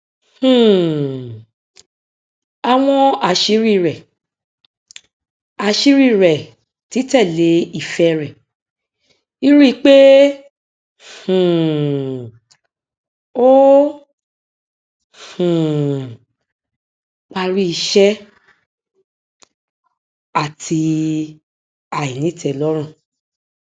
um àwọn àṣírí rẹ àṣírí rẹ títẹlé ìfẹ rẹ ríríi pé um ó um parí iṣẹ àti àìnítẹlọrùn